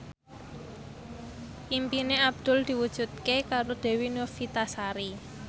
impine Abdul diwujudke karo Dewi Novitasari